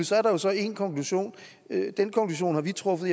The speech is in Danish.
så er der så en konklusion og den konklusion har vi truffet